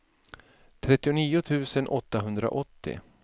trettionio tusen åttahundraåttio